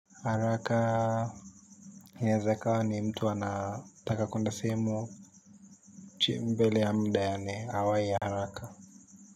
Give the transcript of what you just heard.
Haraka inaweza ikawa ni mtu anataka kwenda sehemu chii mbele ya mud yaani, awahi haraka.